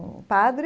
Um padre,